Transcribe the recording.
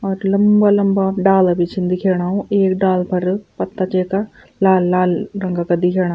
और लम्बा-लम्बा डाला भी छीन दिख्येणा एक डालू पर पत्ता च येका लाल-लाल रंग का दिख्येणा।